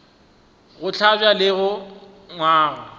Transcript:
go hlabja le go gangwa